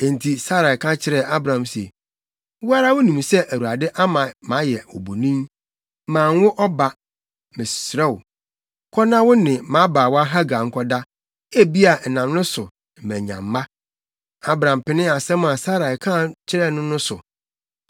enti Sarai ka kyerɛɛ Abram se, “Wo ara wunim sɛ Awurade ama mayɛ obonin; manwo ɔba! Mesrɛ wo, kɔ na wo ne mʼabaawa Hagar nkɔda; ebia ɛnam ne so na manya mma.” Abram penee asɛm a Sarai ka kyerɛɛ no no so.